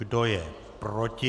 Kdo je proti?